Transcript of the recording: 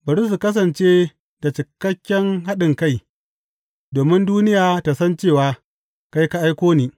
Bari su kasance da cikakken haɗinkai, domin duniya ta san cewa kai ka aiko ni.